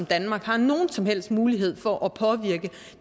danmark har nogen som helst mulighed for at påvirke